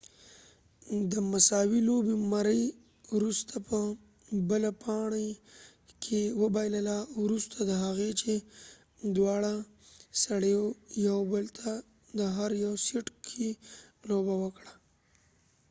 مري murray د مساوي لوبې وروسته په بله پاڼۍ کې وبایلله وروسته د هغې چې دواړه سړیو یو بل ته د هر یو سیټ کې لوبه وکړه